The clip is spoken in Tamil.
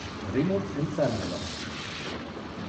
ரிமோட் சென்சார் மூலம்